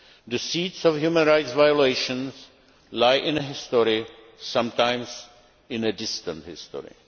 The seeds of human rights violations lie in history, sometimes in distant history.